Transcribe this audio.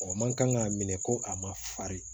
man kan k'a minɛ ko a ma farin